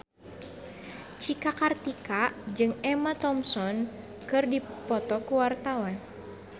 Cika Kartika jeung Emma Thompson keur dipoto ku wartawan